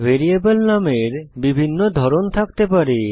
variable নামের ভিন্ন ধরন থাকতে পারে